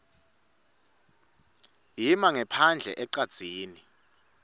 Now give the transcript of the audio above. ima ngephandle ecadzini